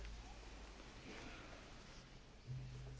Ich schätze den Kollegen Landsbergis sehr.